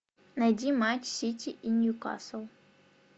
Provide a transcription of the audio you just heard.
найди матч сити и ньюкасл